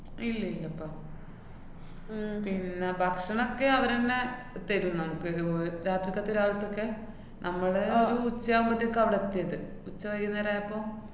ഇല്ലില്ലപ്പാ. ഉം പിന്ന ഭക്ഷണൊക്കെ അവരന്നെ തെരു നമ്ക്ക്. ഒരു രാത്രിക്കത്തെ രാവില്‍ത്തൊക്കെ, നമ്മള് ആഹ് ഒരു ഉച്ചയാവുമ്പത്തേക്കാ അവിടെത്തീത്. ഉച്ച വൈന്നേരമായപ്പൊ